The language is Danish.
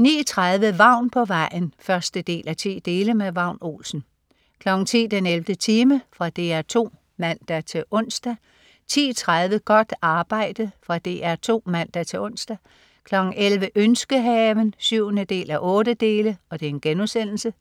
09.30 Vagn på vejen 1:10. Vagn Olsen 10.00 den 11. time. Fra DR 2 (man-ons) 10.30 Godt arbejde. Fra DR 2 (man-ons) 11.00 Ønskehaven 7:8*